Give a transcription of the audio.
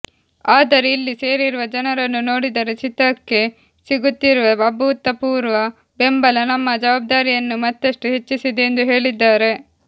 ಆದರೆ ಇಲ್ಲಿ ಸೇರಿರುವ ಜನರನ್ನು ನೋಡಿದರೆ ಚಿತ್ರಕ್ಕೆ ಸಿಗುತ್ತಿರುವ ಅಭೂತಪೂರ್ವ ಬೆಂಬಲ ನಮ್ಮ ಜವಾಬ್ದಾರಿಯನ್ನು ಮತ್ತಷ್ಟು ಹೆಚ್ಚಿಸಿದೆ ಎಂದು ಹೇಳಿದ್ದಾರೆ